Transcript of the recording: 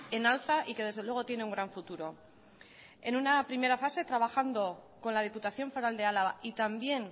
en alza y que desde luego tiene un gran futuro en una primera fase trabajando con la diputación foral de álava y también